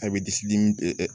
A bɛ disi dimi